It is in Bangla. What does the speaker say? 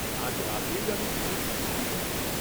আজ রাতেই আমি প্রমোদকে চিঠি লিখব।